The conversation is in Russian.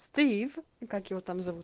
стив и как его там зовут